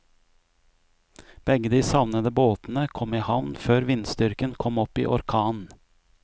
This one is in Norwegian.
Begge de savnede båtene kom i havn før vindstyrken kom opp i orkan.